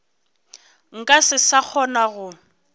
nka se sa kgona go